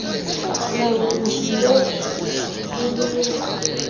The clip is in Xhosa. uyokuthi lontshi kwiliwa